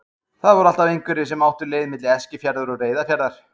Það voru alltaf einhverjir sem áttu leið milli Eskifjarðar og Reyðarfjarðar.